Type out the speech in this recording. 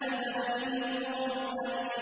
نَزَلَ بِهِ الرُّوحُ الْأَمِينُ